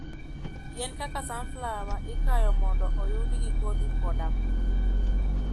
Yien kaka sunflower ikayo mondo oyudgi kodhi koda mo.